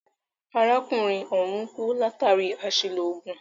Arákùnrin ọ̀hùn kú látàri àṣìlò oògùn.